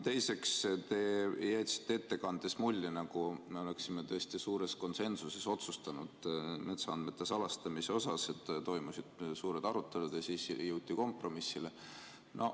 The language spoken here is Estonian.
Teiseks, te jätsite ettekandes mulje, nagu me oleksime tõesti suures konsensuses otsustanud metsaandmete salastamise, et toimusid suured arutelud ja siis jõuti kompromissile.